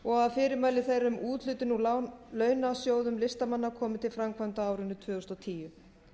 og að fyrirmæli þeirra um úthlutun úr launasjóðum listamanna komi til framkvæmda á árinu tvö þúsund og tíu